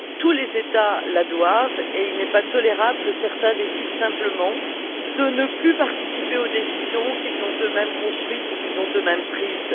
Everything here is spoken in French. Tous les États doivent s'y tenir et il n'est pas tolérable que certains décident simplement de ne plus participer aux décisions qu'ils ont eux mêmes construites et qu'ils ont eux mêmes prises.